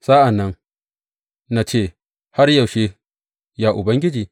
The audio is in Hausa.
Sa’an nan na ce, Har yaushe, ya Ubangiji?